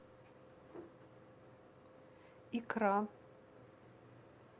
икра